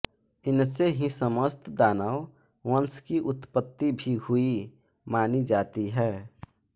इनसे ही समस्त दानव वंश की उत्पत्ति भी हुई मानी जाती है